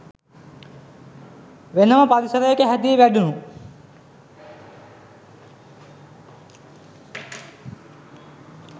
වෙනම පරිසරයක හැදී වැඩුණු